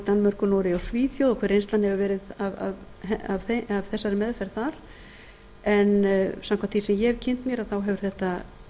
danmörku noregi og svíþjóð og hver reynslan hefur verið af þessari meðferð þar en samkvæmt því sem ég hef kynnt mér þá hefur þetta